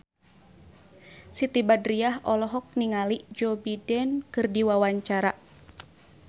Siti Badriah olohok ningali Joe Biden keur diwawancara